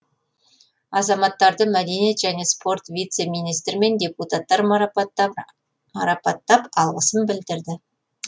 азаматтарды мәдениет және спорт вице министрі мен депутаттар марапаттап алғысын білдірді